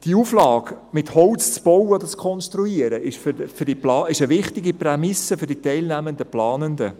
Die Auflage, mit Holz zu bauen oder zu konstruieren, ist eine wichtige Prämisse für die teilnehmenden Planenden.